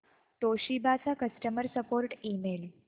Toshiba चा customer support email